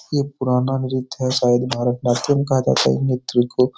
ये पुराना नृत्य है शयद भरतनाट्यम कहा जाता है इ नृत्य को।